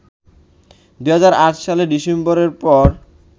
২০০৮ সালের ডিসেম্বরের পর